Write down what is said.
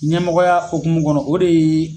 Ɲɛmɔgɔya hokumu kɔnɔ o de ye